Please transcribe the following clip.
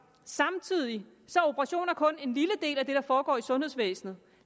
samtidig er operationer kun en lille del af det der foregår i sundhedsvæsenet